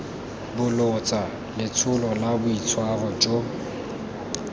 bolotsa letsholo la boitshwaro jo